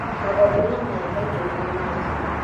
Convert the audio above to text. magongona maya kaingĩ marĩ ma njino